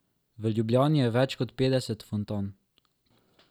V Ljubljani je več kot petdeset fontan.